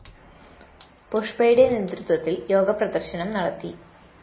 പുഷ്പയുടെ നേതൃത്വത്തില്‍ യോഗ പ്രദര്‍ശനം നടത്തി